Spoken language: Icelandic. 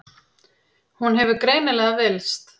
Hún hefur greinilega villst.